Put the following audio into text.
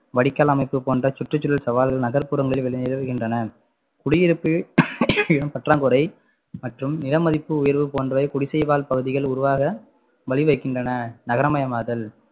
வடிகால் அமைப்பு போன்ற சுற்றுச்சூழல் சவால்கள் நகர்ப்புறங்களில் விளை~ நிலவுகின்றன குடியிருப்பு இடம் பற்றாக்குறை மற்றும் நிலமதிப்பு உயர்வு போன்றவை குடிசைவாழ் பகுதிகள் உருவாக வழி வகுக்கின்றன நகரமயமாதல்